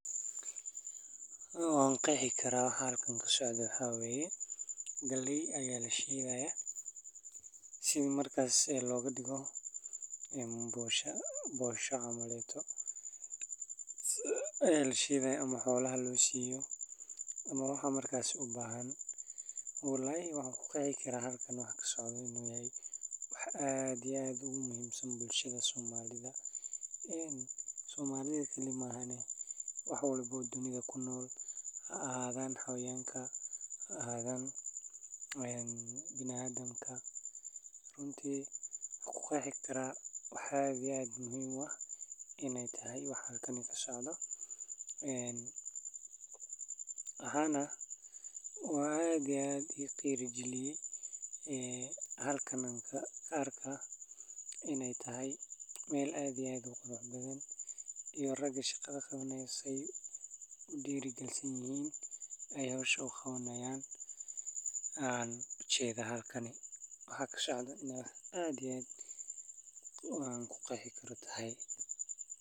Waa mashiin muhiim ah oo loo isticmaalo si loo shafo hadhuudh, qamadi, iyo shaybaal kale oo khudaarta ah, taas oo ay ku fududeyso in la sameeyo bur ama dhadhaan loogu talagalay cuntooyinka qooqa, gaar ahaan gobolada qaarada Afrika ee ay ku badan yihiin beeraha iyo dalagyada, sida Kenya, Uganda, Tanzania, iyo Soomaaliya, halkaas oo ay dadku u baahan yihiin inay sameeyaan cuntooyin fudud oo ay ku maalgashan karaan, sida ugaali, canjeero, iyo rooti, taas oo ay ku sameeyaan guryahooda ama meelaha ay iibiyaan suuqa, sidaa darteed posho mill waxay noqon kartaa hanti muhiim ah oo ay leeyihiin ganacsatada yaryar iyo xoolo dhaqatada, maadaama ay ka caawiso inay sameeyaan cuntooyin tayo leh oo ay ku kala duwanaadaan si loogu iibiyo suuqa si faa'iido leh oo ay ku helaan dakhli ay ku korin karaan qoysaskooda iyo bulshadooda.